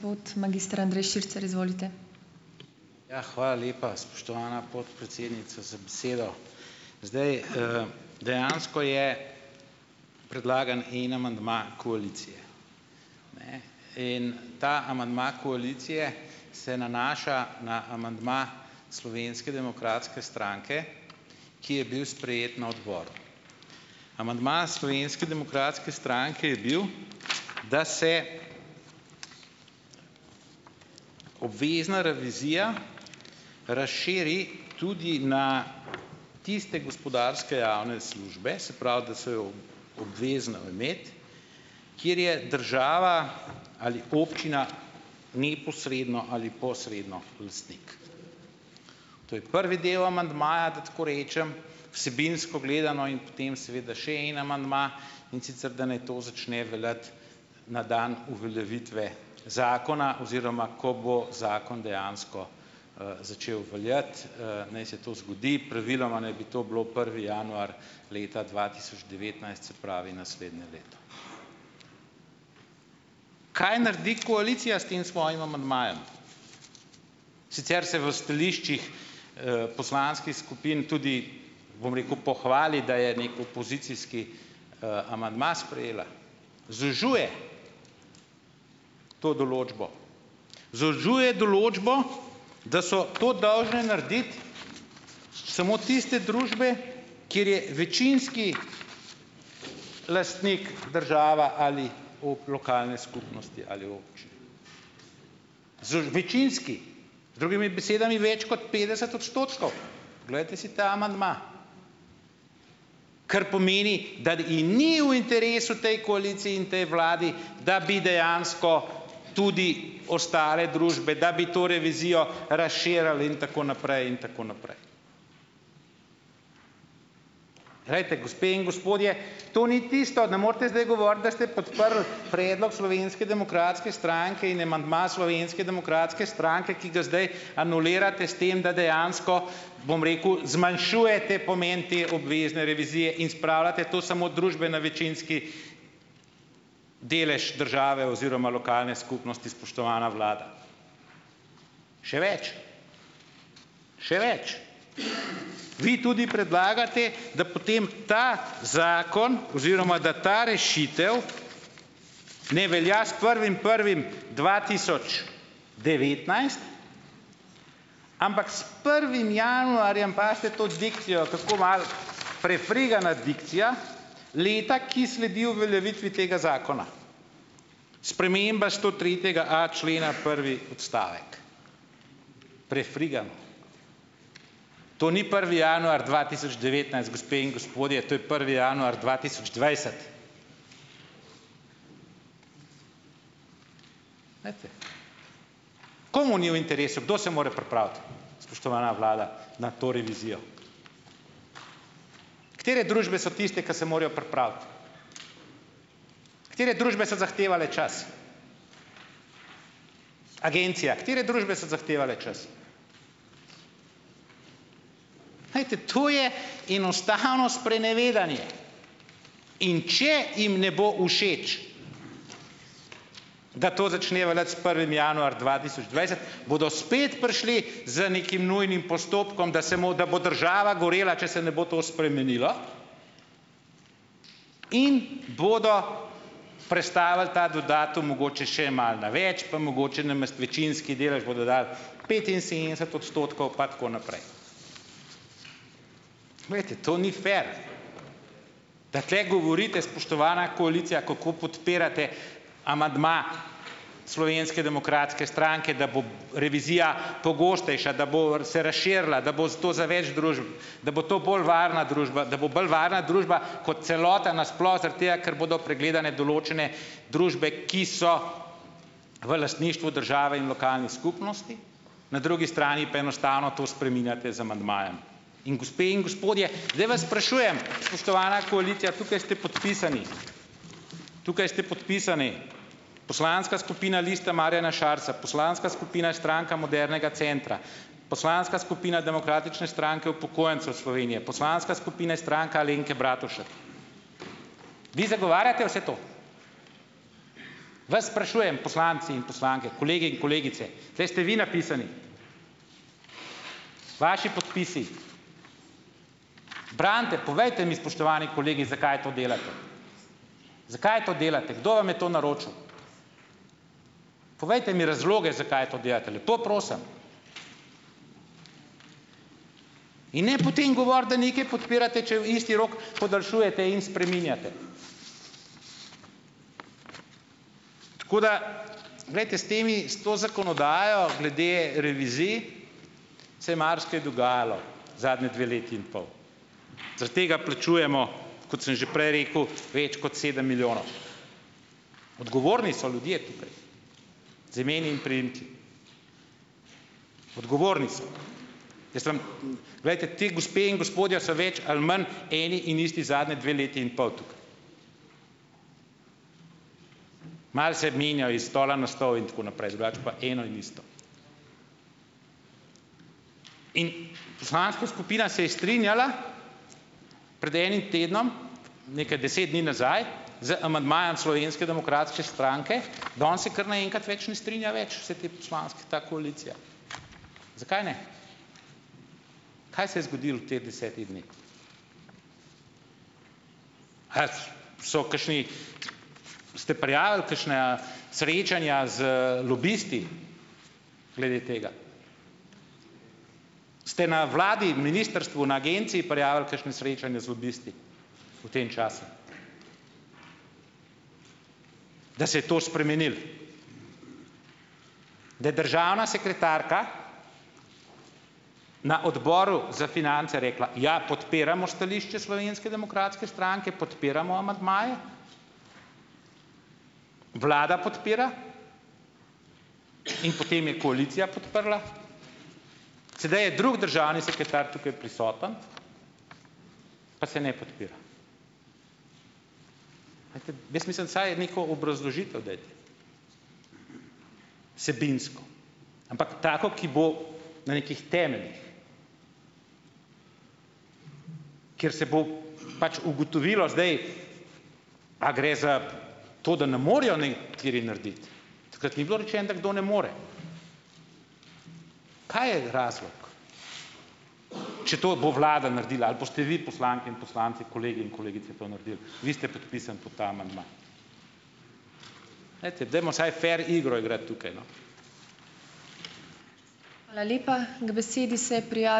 Ja, hvala lepa, spoštovana podpredsednica, za besedo! Zdaj, dejansko je predlagan en amandma koaliciji in ta amandma koalicije se nanaša na amandma Slovenske demokratske stranke, ki je bil sprejet na odboru. Amandma Slovenske demokratske stranke je bil, da se obvezna revizija razširi tudi na tiste gospodarske javne službe, se pravi, da se jo obvezno imeti, kjer je država ali občina neposredno ali posredno lastnik. To je prvi del amandmaja, da tako rečem, vsebinsko gledano. In potem, seveda, še en amandma, in sicer, da naj to začne veljati na dan uveljavitve zakona, oziroma ko bo zakon dejansko začel veljati, naj se to zgodi. Praviloma naj bi to bilo prvi januar, leta dva tisoč devetnajst, se pravi naslednje leto. Kaj naredi koalicija s tem svojim amandmajem? Sicer se v stališčih poslanskih skupin tudi, bom rekel, pohvali, da je neki opozicijski amandma sprejela, zožuje to določbo, zožuje določbo, da so to dolžne narediti samo tiste družbe, kjer je večinski lastnik država ali v lokalne skupnosti ali večinski, z drugimi besedami, več kot petdeset odstotkov, glejte si ta amandma. Kar pomeni, da ji ni v interesu, tej koaliciji in tej vladi, da bi dejansko tudi ostale družbe, da bi to revizijo razširili in tako naprej in tako naprej. Glejte, gospe in gospodje, to ni tisto, ne morete zdaj govoriti, da ste podprli predlog Slovenske demokratske stranke in amandma Slovenske demokratske stranke, ki ga zdaj anulirate s tem, da dejansko, bom rekel, zmanjšujete pomen te obvezne revizije in spravljate to samo družbeno večinski delež države oziroma lokalne skupnosti, spoštovana vlada. Še več, še več, vi tudi predlagate, da potem ta zakon oziroma, da ta rešitev ne velja s prvim prvim dva tisoč devetnajst, ampak s prvim januarjem - pazite to dikcijo, kako malo prefrigana dikcija, leta, ki sledijo uveljavitvi tega zakona. Sprememba stotretjega a. člena prvi odstavek, prefrigano. To ni prvi januar dva tisoč devetnajst, gospe in gospodje, to je prvi januar dva tisoč dvajset. Glejte, komu ni v interesu, kdo se more pripraviti, spoštovana vlada, na to revizijo? Katere družbe so tiste, ki se morajo pripraviti? Katere družbe so zahtevale čas? Agencija, katere družbe so zahtevale čas? Glejte, to je enostavno sprenevedanje, in če jim ne bo všeč, da to začne veljati s prvim januar dva tisoč dvajset, bodo spet prišli z nekim nujnim postopkom, da se bomo, bo država gorela, če se ne bo to spremenilo, in bodo prestavili ta datum mogoče še malo na več, pa mogoče namesto večinski delež bodo dali petinsedemdeset odstotkov pa tako naprej. Glejte, to ni fer, da tukaj govorite, spoštovana koalicija, kako podpirate amandma Slovenske demokratske stranke, da bo revizija pogostejša, da bo r se razširila, da bo zato za več družb, da bo to bolj varna družba, da bo bolj varna družba, kot celota na sploh, zaradi tega ker bodo pregledane določene družbe, ki so v lastništvu države in lokalnih skupnosti, na drugi strani pa enostavno to spreminjate z amandmajem in, gospe in gospodje, zdaj vas sprašujem, spoštovana koalicija, tukaj ste podpisani, tukaj ste podpisani Poslanska skupina Lista Marjana Šarca, Poslanska skupina Stranka modernega centra, Poslanska skupina Demokratične stranke upokojencev Slovenije, Poslanska skupine Stranka Alenke Bratušek. Vi zagovarjate vse to? Vas sprašujem, poslanci in poslanke, kolegi in kolegice - tule ste vi napisani, vaši podpisi. Branite, povejte mi, spoštovani kolegi, zakaj to delate? Zakaj to delate, kdo vam je to naročil? Povejte mi razloge, zakaj to delate, lepo prosim. In ne potem govoriti, da nekaj podpirate, če isti rok podaljšujete in spreminjate. Tako da, glejte s temi s to zakonodajo glede revizij se je marsikaj dogajalo zadnji dve leti in pol, zaradi tega plačujemo, kot sem že prej rekel, več kot sedem milijonov. Odgovorni so ljudje tukaj z imeni in priimki, odgovorni so. Mislim, glejte, te gospe in gospodje so več ali manj eni in isti zadnje dve leti in pol. Malo se menjajo iz stola na stol in tako naprej, drugače pa eno in isto. In poslanska skupina se je strinjala pred enim tednom, nekaj deset dni nazaj z amandmajem Slovenske demokratske stranke, danes se kar naenkrat več ne strinja več - vse te poslanske, ta koalicija. Zakaj ne? Kaj se je zgodilo v teh desetih dneh? Ali so kakšni, ste prijavili kakšne a srečanja z lobisti glede tega? Ste na vladi, ministrstvu, na agenciji prijavili kakšno srečanje z lobisti v tem času, da se je to spremenilo. Da je državna sekretarka na Odboru za finance rekla: "Ja, podpiramo stališče Slovenske demokratske stranke, podpiramo amandmaje, Vlada podpira ..." In potem je koalicija podprla. Sedaj je drug državni sekretar tu prisoten, pa se ne podpira. Jaz mislim, vsaj neko obrazložitev dajte, vsebinsko, ampak tako, ki bo na nekih temeljih, kjer se bo pač ugotovilo zdaj, a gre za to, da ne morejo nekateri narediti - takrat ni bilo rečeno, da kdo ne more. Kaj je razlog, če to bo vlada naredila ali boste vi, poslanke in poslanci, kolegi in kolegice, to naredili, vi ste podpisani pod ta amandma. Glejte, dajmo saj fer igro igrati tukaj, no.